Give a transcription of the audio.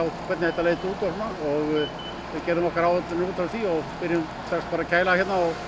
hvernig þetta leit út við gerðum okkar áætlanir út frá því byrjuðum strax bara að kæla hérna og